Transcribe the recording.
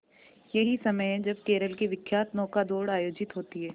यही समय है जब केरल की विख्यात नौका दौड़ आयोजित होती है